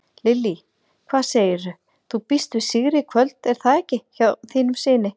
Lillý: Hvað segirðu, þú býst við sigri í kvöld er það ekki hjá þínum syni?